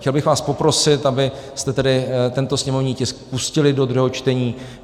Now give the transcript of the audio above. Chtěl bych vás poprosit, abyste tedy tento sněmovní tisk pustili do druhého čtení.